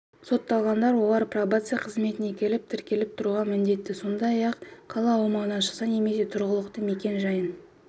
сотталғандар олар пробация қызметіне келіп тіркеліп тұруға міндетті сондай-ақ қала аумағынан шықса немесе тұрғылықты мекен-жайын